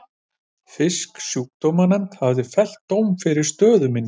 Fisksjúkdómanefnd hafði fellt dóm yfir stöð minni.